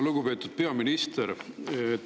Lugupeetud peaminister!